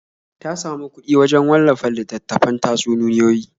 Ta samu kuɗi wajen wallafa littattafan tatsuniyoyi.